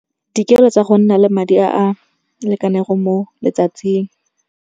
Dikeelo tsa go nna le madi a a lekane go mo letsatsing.